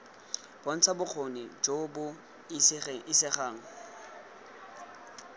bontsha bokgoni jo bo isegang